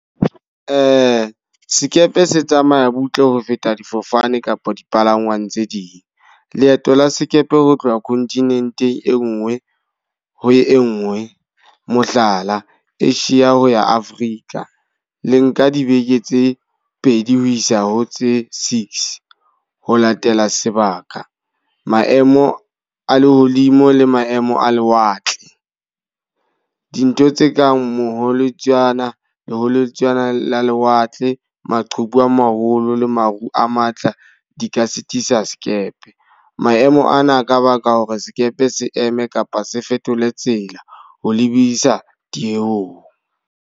Sekepe se tsamaya butle ho feta difofane kapa dipalangwang tse ding. Leeto la sekepe ho tloha kontinenteng e nngwe ho e nngwe. Mohlala, Asia ho ya Africa le nka dibeke tse pedi ho isa ho tse six, ho latela sebaka, maemo a lehodimo le maemo a lewatle. Dintho tse kang molotsana ho moholotswana la lewatle, maqhubu a maholo le maru a matla di ka sitisa sekepe. Maemo ana ka baka hore sekepe se eme kapa se fetole tsela ho lebisa dilemong.